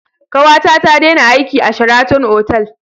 Kawata ta dena aiki a Sheraton otal